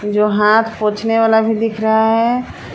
जो हाथ पोछने वाला भी दिख रहा है।